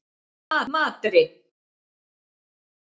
Madríd